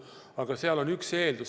Aga seal on üks eeldus.